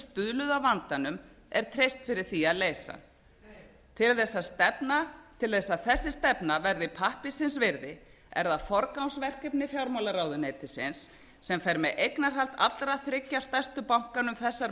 stuðluðu að vandanum er treyst fyrir því að leysa hann til að þessi stefna verði pappírsins virði er það forgangsverkefni fjármálaráðuneytisins sem fer með eignarhald allra þriggja stærstu bankanna um þessar